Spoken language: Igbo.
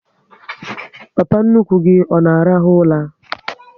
Papa nnukwu gị ọ na arahu ụla?